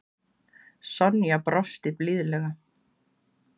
Sonja brosti blíðlega.